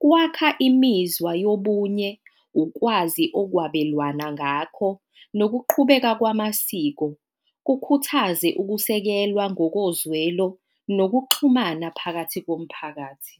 kwakha imizwa yobunye, ukwazi okwabelwana ngakho nokuqhubeka kwamasiko, kukhuthaze ukusekelwa ngokozwelo nokuxhumana phakathi komphakathi.